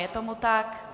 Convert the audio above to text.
Je tomu tak?